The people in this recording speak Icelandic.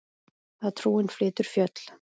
Að trúin flytur fjöll.